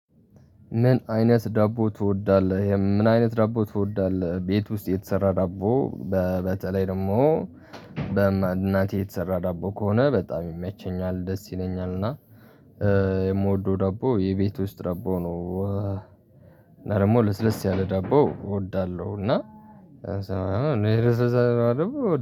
ምን አይነት ዳቦ ትወዳለህ ምን አይነት ዳቦ ትወዳለህ? ቤት ውስጥ የተሰራ ዳቦ በተለይ ደሞ በእናቴ የተሰራ ዳቦ ከሆነ በጣም ይመቸኛል ደስ ይለኛል። እና የምወደው ዳቦ የቤት ውስጥ ዳቦ ነው። እና ደሞ ለስለስ ያለ ዳቦ እወዳለሁ እና።